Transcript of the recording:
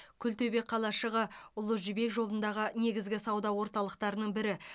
күлтөбе қалашығы ұлы жібек жолындағы негізгі сауда орталықтарының бірі